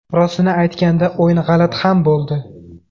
Rostini aytganda, o‘yin g‘alati ham bo‘ldi.